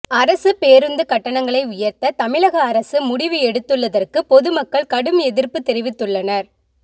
அரசு பேருந்து கட்டணங்களை உயர்த்த தமிழக அரசு முடிவு எடுத்துள்ளதற்கு பொதுமக்கள் கடும் எதிர்ப்பு தெரிவித்துள்ளனர்